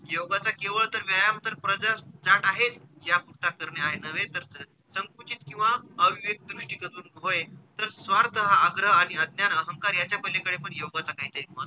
योगाचा केवळ तर व्यायाम तर प्रजास ज्ञात आहेच ज्ञात नुसता करणे नव्हे तर स संकुचित किंवा अविवेकी दृष्टी बदलून होय तर स्वार्थ हा आग्रह आणि अज्ञान, अहंकार यांच्या पलीकडे पण योगाचा काहीतरी महत्व,